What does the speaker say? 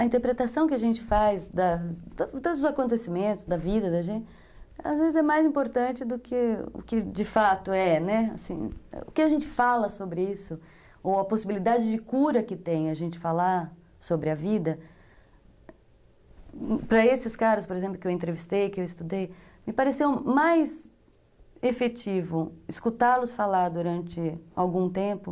A interpretação que a gente faz da de todos os acontecimentos da vida da gente, às vezes é mais importante do que o que de fato é, né, assim, o que a gente fala sobre isso, ou a possibilidade de cura que tem a gente falar sobre a vida, para esses caras, por exemplo, que eu entrevistei, que eu estudei, me pareceu mais efetivo escutá-los falar durante algum tempo.